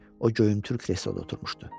O göyümtür kresloda oturmuşdu.